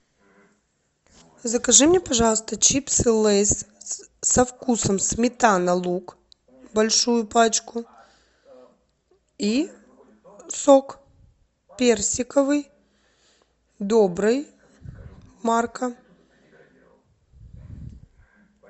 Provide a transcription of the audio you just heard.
закажи мне пожалуйста чипсы лейс со вкусом сметана лук большую пачку и сок персиковый добрый марка